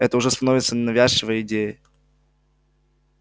это уже становится навязчивой идеей